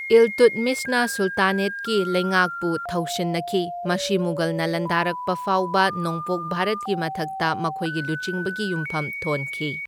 ꯏꯜꯇꯨꯠꯃꯤꯁꯅ ꯁꯨꯜꯇꯥꯅꯦꯠꯀꯤ ꯂꯩꯉꯥꯛꯄꯨ ꯊꯧꯁꯤꯟꯅꯈꯤ, ꯃꯁꯤ ꯃꯨꯘꯜꯅ ꯂꯥꯟꯗꯥꯔꯛꯄ ꯐꯥꯎꯕ ꯅꯣꯡꯄꯣꯛ ꯚꯥꯔꯠꯀꯤ ꯃꯊꯛꯇ ꯃꯈꯣꯏꯒꯤ ꯂꯨꯆꯤꯡꯕꯒꯤ ꯌꯨꯝꯐꯝ ꯊꯣꯟꯈꯤ꯫